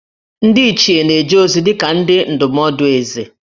Ndị Ichie na-eje ozi dị ka ndị ndụmọdụ Ézè